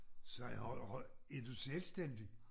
Sagde han høj er du selvstændig?